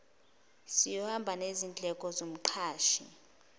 siyohamba ngezindleko zomqashi